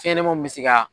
Fɛnɲɛnɛmaninw bɛ se ka